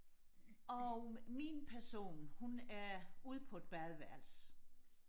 og min person hun er ude på et badeværelse